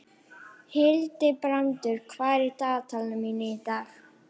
Hildibrandur, hvað er á dagatalinu mínu í dag?